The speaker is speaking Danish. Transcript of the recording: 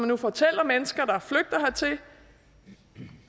nu fortæller mennesker der er flygtet hertil